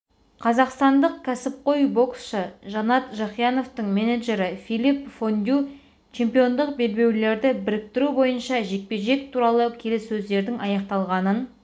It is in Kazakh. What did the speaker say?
қазақстандық кәсіпқой боксшы жанат жақияновтың менеджері филипп фондю чемпиондық белбеулерді біріктіру бойынша жекпе-жек туралы келіссөздердің аяқталғанын